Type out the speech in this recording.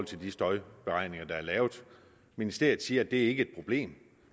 til de støjberegninger der er lavet ministeriet siger at det ikke er et problem